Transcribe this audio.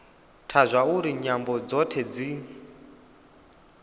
ntha zwauri nyambo dzothe dzi